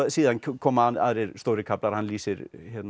síðan koma aðrir stórir kaflar hann lýsir